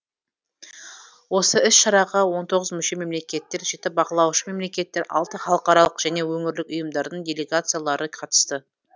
осы іс шараға он тоғыз мүше мемлекетер жеті бақылаушы мемлекеттер алты халықаралық және өңірлік ұйымдардың делигациялары қатысты